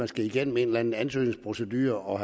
skal igennem en eller anden ansøgningsprocedure og